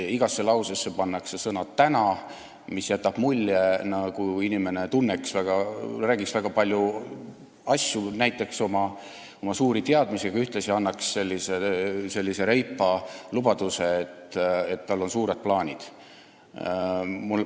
Igasse lausesse pannakse sõna "täna", mis jätab mulje, nagu inimene räägiks väga paljudest asjadest ja näitaks oma suuri teadmisi ning ühtlasi annaks sellise reipa lubaduse, et tal on suured plaanid.